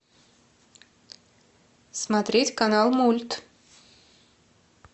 смотреть канал мульт